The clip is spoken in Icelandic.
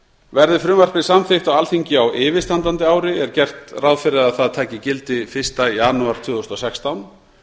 verði frumvarpið samþykkt á alþingi á yfirstandandi ári er gert ráð fyrir að það taki gildi fyrsta janúar tvö þúsund og sextán